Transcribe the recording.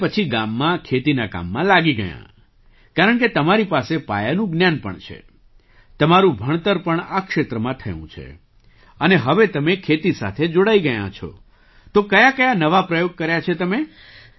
અને પછી ગામમાં ખેતીના કામમાં લાગી ગયાં કારણકે તમારી પાસે પાયાનું જ્ઞાન પણ છે તમારું ભણતર પણ આ ક્ષેત્રમાં થયું છે અને હવે તમે ખેતી સાથે જોડાઈ ગયાં છો તો કયાકયા નવા પ્રયોગ કર્યા છે તમે